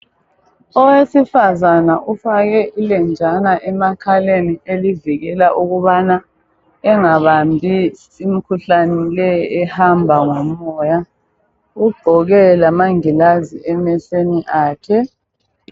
Owesifazana ufake ilenjana emakhaleni elivikela ukubana engabambi imikhuhlane leyi ehamba ngomoya, ugqoke amangilazi emehlweni akhe.